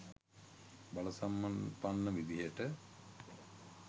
බල සම්පන්න විදිහට